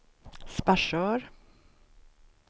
Sparsör